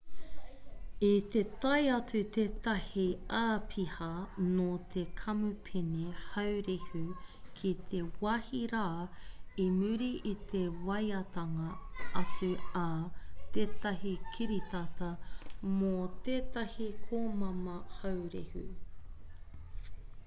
i te tae atu tētahi āpiha nō te kamupene haurehu ki te wāhi rā i muri i te waeatanga atu a tētahi kiritata mō tētahi komama haurehu